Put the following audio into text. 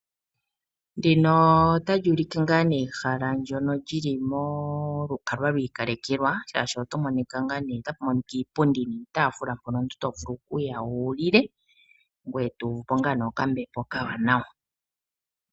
Ndino otali ulike ngaa nee ehala ndono lyili molukalwa lwa ikalekelwa, shaashi otapu monika iipundi niitafula mpono omuntu to vulu okuya wu lile. Ngoye to uvupo ngaa ne okambepo okawanawa.